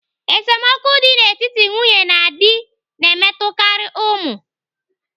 Esemokwu dị n'etiti nwunye na di na-emetụtakarị ụmụ.